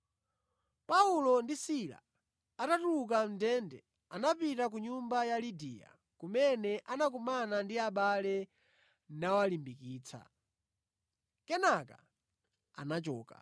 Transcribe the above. Paulo ndi Sila atatuluka mʼndende, anapita ku nyumba ya Lidiya, kumene anakumana ndi abale nawalimbikitsa. Kenaka anachoka.